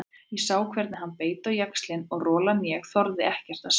Ég sá hvernig hann beit á jaxlinn og rolan ég þorði ekkert að segja.